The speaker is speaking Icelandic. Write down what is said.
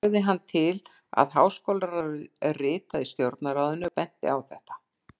Lagði hann til, að háskólaráðið ritaði Stjórnarráðinu og benti á þetta.